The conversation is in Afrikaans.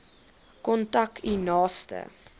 kontak u naaste